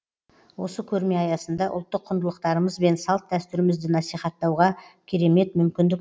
осы көрме аясында ұлттық құндылықтарымыз бен салт дәстүрімізді насихаттауға керемет мүмкіндік